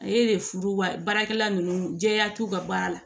Ale de furu wa baarakɛla nunnu jɛya t'u ka baara la